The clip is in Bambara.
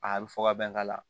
A bɛ fɔ ka bɛn ka